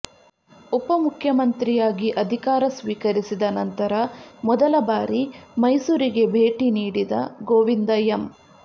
ಉಪ ಮುಖ್ಯಮಂತ್ರಿಯಾಗಿ ಅಧಿಕಾರ ಸ್ವೀಕರಿಸಿದ ನಂತರ ಮೊದಲ ಬಾರಿ ಮೈಸೂರಿಗೆ ಭೇಟಿ ನೀಡಿದ ಗೋವಿಂದ ಎಂ